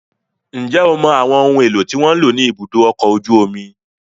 Ǹjẹ́ o mọ àwọn ohun èlò tí wọ́n ń lò ní ibùdó ọkọ̀ ojú omi?